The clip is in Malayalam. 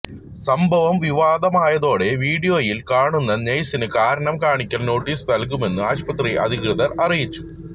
സംഭവം വിവാദമായതോടെ വീഡിയോയില് കാണുന്ന നഴ്സിന് കാരണം കാണിക്കല് നോട്ടീസ് നല്കുമെന്ന് ആശുപത്രി അധികൃതര് അറിയിച്ചു